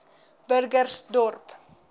burgersdorp